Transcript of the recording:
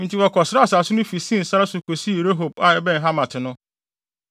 Enti wɔkɔsraa asase no fi Sin sare so kosii Rehob a ɛbɛn Hamat no.